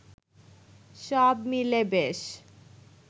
সব মিলে বেশ